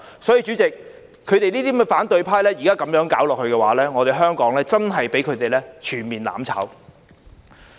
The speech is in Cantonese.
所以，主席，現在這些反對派這樣搞下去，香港真的會被他們全面"攬炒"。